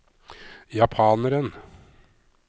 japaneren